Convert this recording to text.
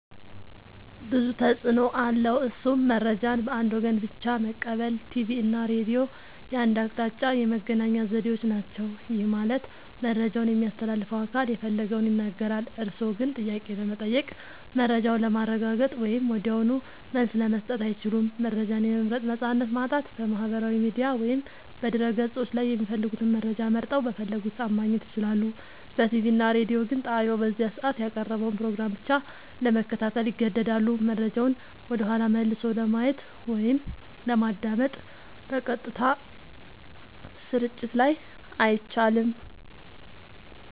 ብዙ ተፅኖ አለዉ እሱም :-መረጃን በአንድ ወገን ብቻ መቀበል ቲቪ እና ሬዲዮ የአንድ አቅጣጫ የመገናኛ ዘዴዎች ናቸው። ይህ ማለት መረጃውን የሚያስተላልፈው አካል የፈለገውን ይናገራል፤ እርስዎ ግን ጥያቄ ለመጠየቅ፣ መረጃውን ለማረጋገጥ ወይም ወዲያውኑ መልስ ለመስጠት አይችሉም። መረጃን የመምረጥ ነፃነት ማጣት በማህበራዊ ሚዲያ ወይም በድረ-ገጾች ላይ የሚፈልጉትን መረጃ መርጠው፣ በፈለጉት ሰዓት ማግኘት ይችላሉ። በቲቪ እና ሬዲዮ ግን ጣቢያው በዚያ ሰዓት ያቀረበውን ፕሮግራም ብቻ ለመከታተል ይገደዳሉ። መረጃውን ወደኋላ መልሶ ለማየት ወይም ለማዳመጥ (በቀጥታ ስርጭት ላይ) አይቻልም።